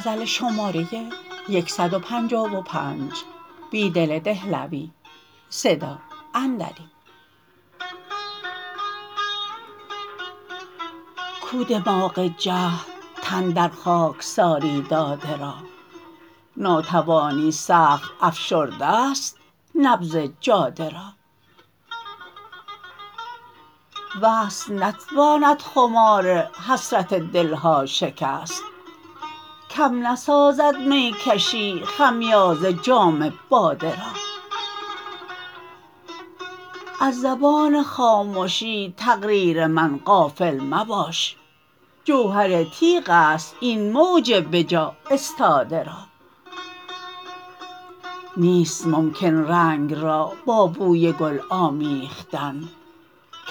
کو دماغ جهد تن در خاکساری داده را ناتوانی سخت افشرده ست نبض جاده را وصل نتواند خمار حسرت دلها شکست کم نسازد می کشی خمیازه جام باده را از زبان خامشی تقریر من غافل مباش جوهرتیغ است این موج به جا استاده را نیست ممکن رنگ را با بوی گل آمیختن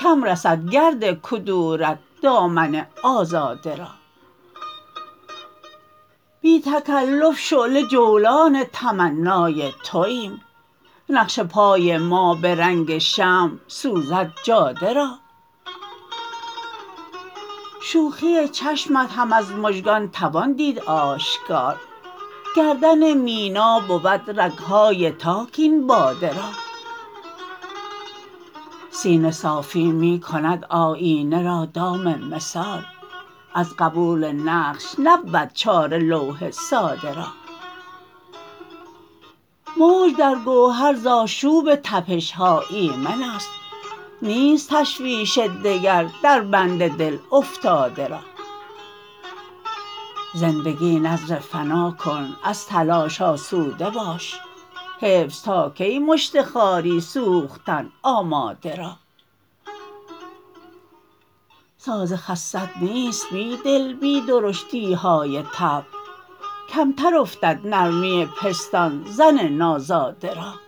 کم رسد گردکدورت دامن آزاده را بی تکلف شعله جولان تمنای توایم نقش پای ما به رنگ شمع سوزد جاده را شوخی چشمت هم از مژگان توان دیدآشکار گردن مینا بود رگهای تاک این باده را سینه صافی می کند آیینه را دام مثال از قبول نقش نبود چاره لوح ساده را موج درگوهر زآشوب تپشها ایمن است نیست تشویش دگر در بند دل افتاده را زندگی نذر فناکن از تلاش سوده باش حفظ تاکی مشت خاری سوختن آماده را ساز خست نیست بیدل بی درشتیهای طبع کمتر افتد نرمی پستان زن نازاده را